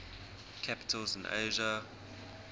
capitals in asia